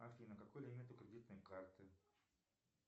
афина какой лимит у кредитной карты